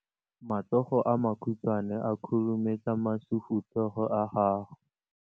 Matsogo a makhutshwane a khurumetsa masufutsogo a gago.